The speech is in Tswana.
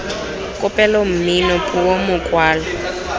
kopelo mmino puo mokwalo j